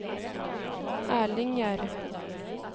Erling Gjerde